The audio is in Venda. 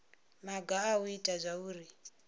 maga a u ita zwauri